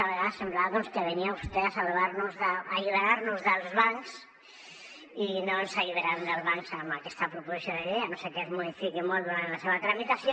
a vegades semblava doncs que venia vostè a alliberar nos dels bancs i no ens alliberarem dels bancs amb aquesta proposició de llei a no ser que es modifiqui molt durant la seva tramitació